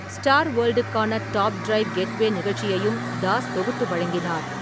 Star வேல்டுக்கான top drive - getaway நிகழ்ச்சியையும் தாஸ் தொகுத்து வழங்கினார்.